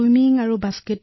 মোৰ হবী হল সাঁতোৰা